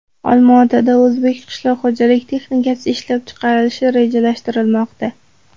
Olmaotada o‘zbek qishloq xo‘jalik texnikasi ishlab chiqarilishi rejalashtirilmoqda.